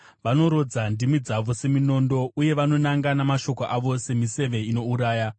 Vanorodza ndimi dzavo seminondo, uye vanonanga namashoko avo semiseve inouraya.